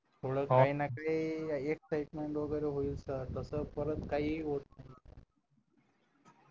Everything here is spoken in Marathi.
थोडं काही ना काही excitement वगैरे होईल तस परत काही होत